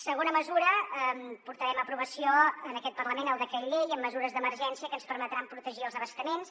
segona mesura portarem a aprovació en aquest parlament el decret llei amb mesures d’emergència que ens permetran protegir els abastaments